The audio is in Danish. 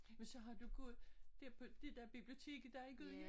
Men så har du gået dér på det dér biblioteket der er i Gudhjem?